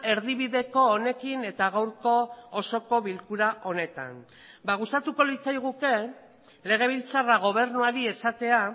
erdibideko honekin eta gaurko osoko bilkura honetan ba gustatuko litzaiguke legebiltzarra gobernuari esatea